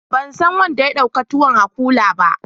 Ban san wanda ya dauka tuwon a kula ba?